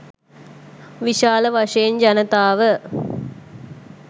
විශාල වශයෙන් ජනතාව